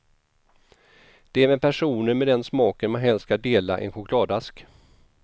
Det är med personer med den smaken man helst ska dela en chokladask.